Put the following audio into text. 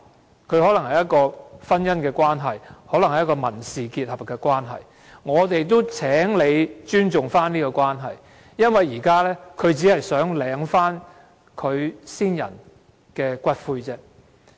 他們可能有婚姻或民事結合的關係，而我們希望政府尊重這種關係，因為他們只是想領回其先人的骨灰。